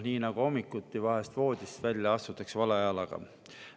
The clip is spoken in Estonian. Nii nagu hommikuti astutakse vahel voodist välja vale jalaga.